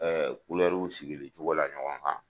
sigili cogo la ɲɔgɔn kan